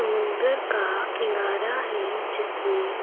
समुन्दर का किनार है जिसमें --